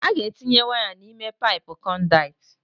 A ga-etinye waya n'ime paipụ conduit.